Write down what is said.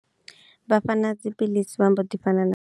Vha fhana dzi piḽisi vha mbo ḓi fhana na.